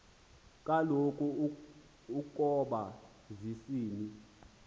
kaloku ukoba zisina